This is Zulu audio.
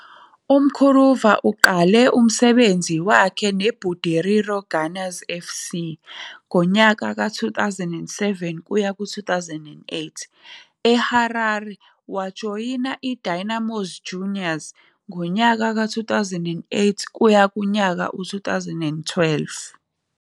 UMkuruva uqale umsebenzi wakhe neBudiriro Gunners FC ngonyaka ka- 2007-2008, eHarare wajoyina iDynamos Juniors 2008-2012.